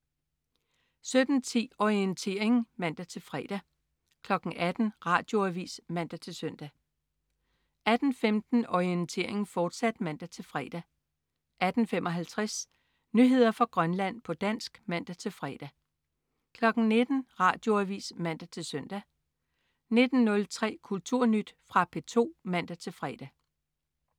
17.10 Orientering (man-fre) 18.00 Radioavis (man-søn) 18.15 Orientering, fortsat (man-fre) 18.55 Nyheder fra Grønland, på dansk (man-fre) 19.00 Radioavis (man-søn) 19.03 Kulturnyt. Fra P2 (man-fre)